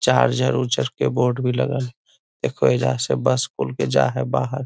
Charger उर्जर के board भी लगल हेय देखोह आइजा से बस खुलके जाए हेय बाहर।